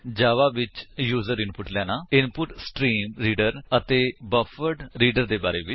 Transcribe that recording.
ਜਾਵਾ ਵਿੱਚ user input ਲੈਣਾ input stream reader ਅਤੇ ਬਫਰਡਰੀਡਰ ਦੇ ਬਾਰੇ ਵਿੱਚ